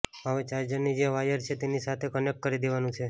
હવે ચાર્જરની જે વાયર છે તેની સાથે કનેક્ટ કરી દેવાનું છે